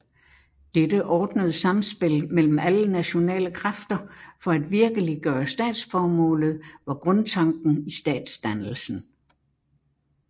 Dette ordnede samspil mellem alle nationale kræfter for at virkeliggøre statsformålet var grundtanken i statsdannelsen